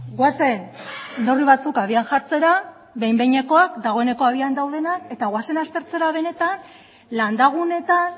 goazen neurri batzuk abian jartzera behin behinekoak dagoeneko abian daudenak eta goazen aztertzera benetan landa guneetan